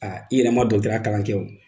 i yɛrɛ ma kalan kɛ wo.